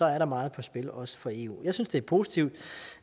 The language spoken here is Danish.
er meget på spil også for eu jeg synes det er positivt